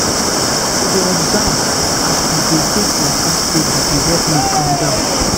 to dey observe as i dey take waka steady dey help me calm down.